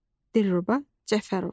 Dilruba Cəfərova.